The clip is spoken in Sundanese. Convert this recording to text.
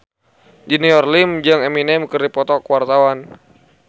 Junior Liem jeung Eminem keur dipoto ku wartawan